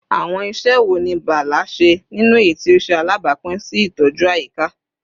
Awọn iṣẹ wo ni Bala ṣe ninu eyiti o ṣe alabapin si itọju ayika?